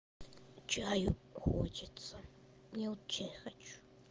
чаю хочется я вот чай хочу